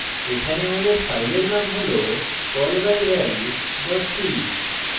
এখানে আমাদের file name হল callbyval c